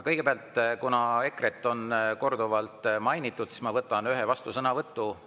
Kõigepealt, kuna EKRE-t on korduvalt mainitud, siis ma võtan ühe vastusõnavõtu.